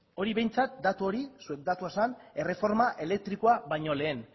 hori behintzat datu hori zuen datua zen erreforma elektrikoa baino lehen